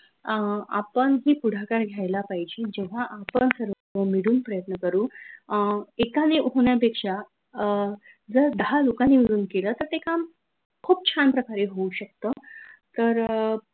अं आपन ही पुढाकार घ्यायला पाहिजे जेव्हा आपन सर्व मिडून प्रयत्न करू अं एकाने पेक्षा अं जर, दाहा लोकांनी मिळून केलं तर, ते काम खूप छान प्रकारे होऊन शकत तर,